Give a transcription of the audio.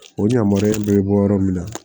O yamaruya bɛ bɔ yɔrɔ min na